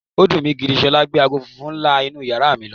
Ó dùn mi gidi gan. S̩o̩lá gbe aago funfun ńlá inú yàrá ibùsùn mi lo̩.